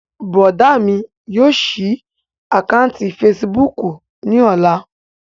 Bùrọ̀dá mi yóò ṣí àkáǹtì fesibúùkù ní ọ̀la